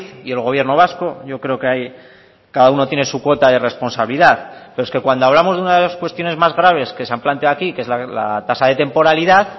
y el gobierno vasco yo creo que hay cada uno tiene su cuota de responsabilidad pero es que cuando hablamos de una de las cuestiones más graves que se han planteado aquí que es la tasa de temporalidad